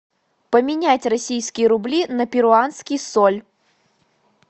поменять российские рубли на перуанский соль